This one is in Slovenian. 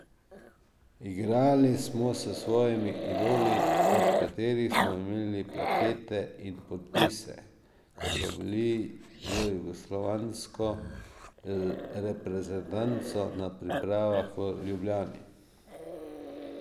Igrali smo s svojimi idoli, od katerih smo imeli plakate in podpise, ko so bili z jugoslovansko reprezentanco na pripravah v Ljubljani.